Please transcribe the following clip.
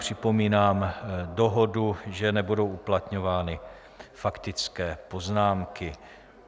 Připomínám dohodu, že nebudou uplatňovány faktické poznámky.